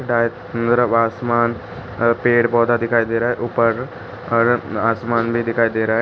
आसमान अ पेड़ पौधा दिखाई दे रहा है ऊपर आसमान भी दिखाई दे रहा है।